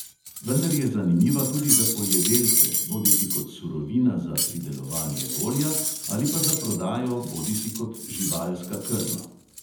Vendar je zanimiva tudi za poljedelce, bodisi kot surovina za pridelovanje olja ali pa za prodajo bodisi kot živalska krma.